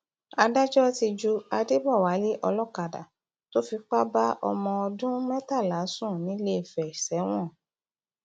adájọ ti ju adébọwálé olókàdá tó fipá bá ọmọ ọdún mẹtàlá sùn nìléèfẹ sẹwọn